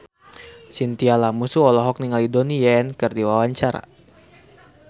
Chintya Lamusu olohok ningali Donnie Yan keur diwawancara